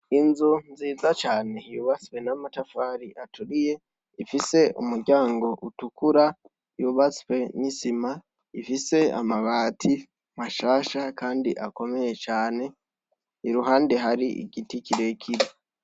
Inzu nziza cane yubatse n' amatafar'aturiye, ifis' umuryang' utukura yubatswe n'isima, ifis' amabati mashasha kand' akomeye cane, iruhande har'igiti kirekire.